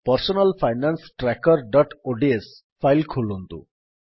personal finance trackerଓଡିଏସ file ଖୋଲନ୍ତୁ